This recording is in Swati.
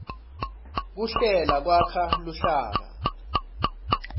kuhlela kwakha luhlaka